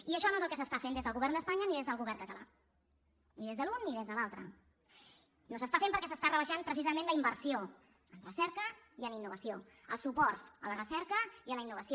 i això no és el que s’està fent des del govern d’espanya ni des del govern català ni des de l’un ni des de l’altre no s’està fent perquè s’està rebaixant precisament la inversió en recerca i en innovació els suports a la recerca i a la innovació